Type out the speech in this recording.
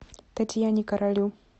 татьяне королю